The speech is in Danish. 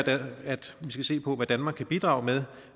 at vi skal se på hvad danmark kan bidrage med